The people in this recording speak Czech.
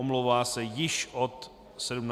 Omlouvá se již od 17 hodin.